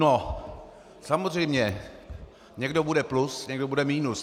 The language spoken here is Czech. No, samozřejmě, někdo bude plus, někdo bude minus.